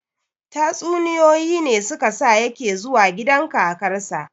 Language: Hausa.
Tatsuniyoyi ne su ka sa ya ke zuwa gidan kakarsa